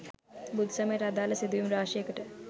බුදු සමයට අදාළ සිදුවීම් රාශියකට